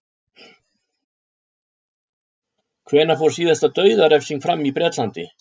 Hvenær fór síðasta dauðarefsing fram í Bretlandi?